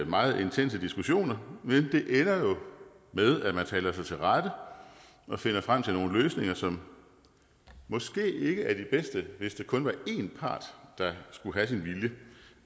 meget intense diskussioner men det ender jo med at man taler sig til rette og finder frem til nogle løsninger som måske ikke er de bedste hvis det kun var en part der skulle have sin vilje